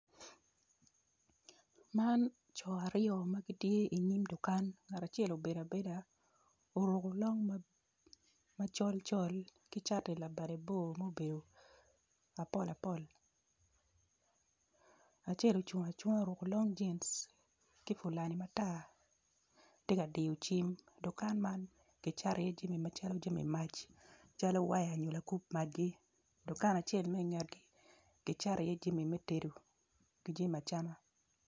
Man coo aryo magitye inyim dukan ngat acel obedo abeda oruko long ma col col ki cati labade bor mobedo apol apol acel ocung acunga oruko long jeans ki fulani matar tye ka diyo cwing dukan man kicato jami calo jami mac calo waya nyo lakup watgi dukan acel me ingetgi gicato iye jami metedo kijami acama.